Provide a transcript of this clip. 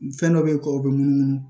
Fɛn dɔ bɛyi kɔ bɛ munumunu